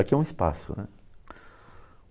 Aqui é um espaço, né.